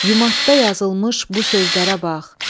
Yumadda yazılmış bu sözlərə bax.